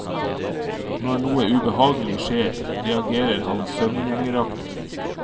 Når noe ubehagelig skjer, reagerer han søvngjengeraktig.